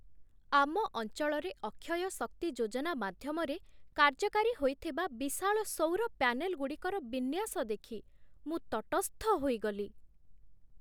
ଆମ ଅଞ୍ଚଳରେ ଅକ୍ଷୟ ଶକ୍ତି ଯୋଜନା ମାଧ୍ୟମରେ କାର୍ଯ୍ୟକାରୀ ହୋଇଥିବା ବିଶାଳ ସୌର ପ୍ୟାନେଲଗୁଡ଼ିକର ବିନ୍ୟାସ ଦେଖି ମୁଁ ତଟସ୍ଥ ହୋଇଗଲି।